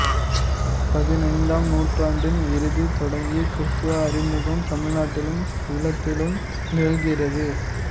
பதினைந்தாம் நூற்றாண்டின் இறுதி தொடங்கி கிறித்தவ அறிமுகம் தமிழ்நாட்டிலும் ஈழத்திலும் நிகழ்கிறது